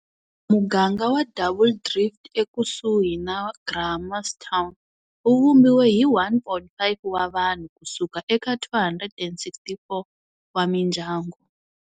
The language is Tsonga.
Muganga wa Double Drift ekusuhi na Grahamstown wu vumbiwe hi 1 500 wa vanhu ku suka eka 264 wa mindyangu.